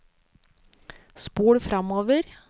spol framover